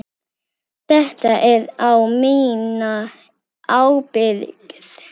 Þetta er á mína ábyrgð.